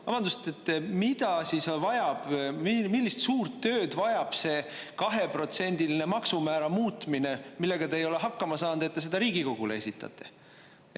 Vabandust, et mida siis vajab, millist suurt tööd vajab see kaheprotsendiline maksumäära muutmine, millega te ei ole hakkama saanud, et te seda Riigikogule esitate?